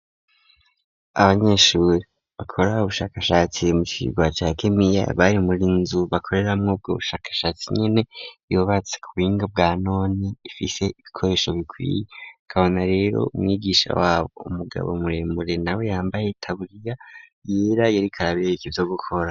Abanyeshuri bakora ubushakashatsi mu cirwa ca gimiya bari munzu bakoreramwo ubwo bushakashatsi nyene yubatse kubuhinga bwa none ifise ibikoresho bikwiye ukabona rero umwigisha wabo umugabo muremure nawe yambaye itaburiya yera yariko arabereka ivyo gukora.